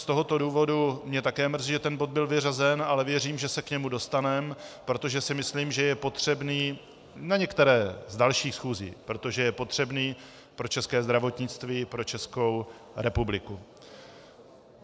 Z tohoto důvodu mě také mrzí, že ten bod byl vyřazen, ale věřím, že se k němu dostaneme, protože si myslím, že je potřebný, na některé z dalších schůzí, protože je potřebný pro české zdravotnictví, pro Česku republiku.